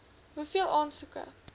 hoeveel aansoeke